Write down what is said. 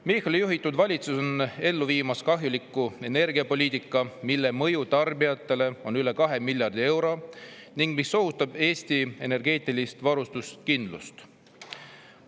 Michali juhitud valitsus viib ellu kahjulikku energiapoliitikat, mille mõju tarbijatele on üle 2 miljardi euro ning mis ohustab Eesti energiavarustuskindlust.